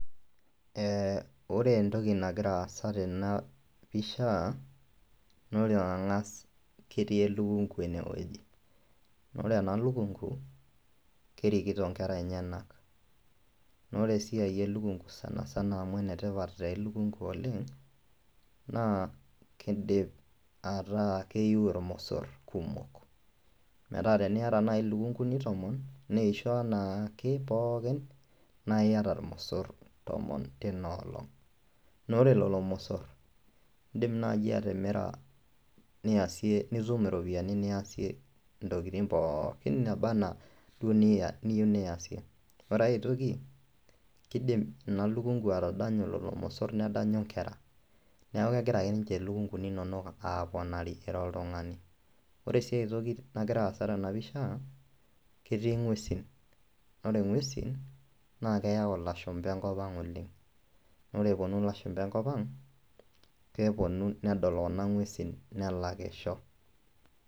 Ee ore entoki nagira aasa tena pisha naa ore eng'as ketii elukung' ene woji naa ore ena lukung'u, kerikito nkera enyenak naa ore esiai e lukung'u sana sana amu ene tipat taa elukung'u oleng' naa kindip ataa keyiu irmosor kumok, metaa teniyata nai lukung'uni tomon neisho enaake pookin nae iyata irmosor tomon tina olong' naa ore lelo mosor iindim naaji atimira niasie nitum iropiani niasie ntokitin pookin naaba naa duo niya niyiu niaisie. Ore ai toki kiidim ina lukung'u atadanyu lolo mosor nedanyu nkera neeku kegira ake nje lukung'uni inonok aaponari ira oltung'ani. Ore sii ai toki nagira aasa tena pisha ketii ng'uesin naa ore ng'uesin naa keyau ilashumba enkop ang' oleng' naa ore eponu lashumba enkop ang' keponu nedol kuna ng'uesin nelakisho.